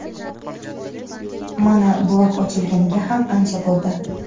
Mana blog ochilganiga ham ancha bo‘ldi.